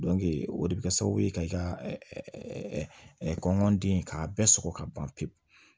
o de bɛ kɛ sababu ye ka i ka kɔnɔnden k'a bɛɛ sɔgɔ ka ban pewu